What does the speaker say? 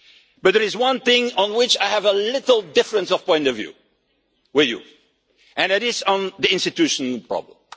But there is one thing on which I have a little difference in point of view with you, and it is the institutional problem.